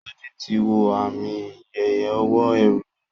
Soji tí wọ Ààmì iye owó ẹrù yí.